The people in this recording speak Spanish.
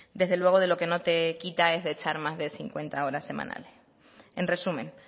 desde luego de lo que no te quita es de echar más de cincuenta horas semanales en resumen